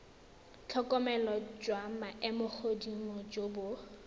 tlhokomelo jwa maemogodimo jo bo